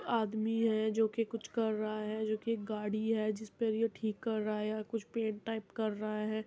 आदमी है जो कि कुछ कर रहा है जो कि गाड़ी है। जिसपे ये ठीक कर रहा या कुछ पैंट टाइप कर रहा हैं।